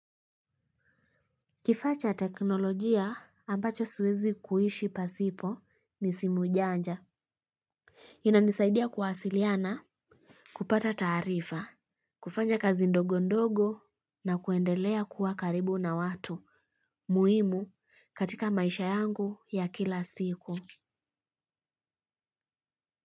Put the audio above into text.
Kifaa cha teknolojia ambacho siwezi kuishi pasipo ni simu janja. Inanisaidia kuwasiliana, kupata taarifa, kufanya kazi ndogo ndogo na kuendelea kuwa karibu na watu muhimu katika maisha yangu ya kila siku.